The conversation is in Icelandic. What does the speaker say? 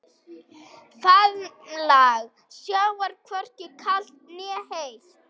Faðmlag sjávar hvorki kalt né heitt.